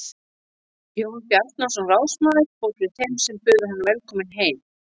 Jón Bjarnason ráðsmaður fór fyrir þeim sem buðu hann velkominn heim.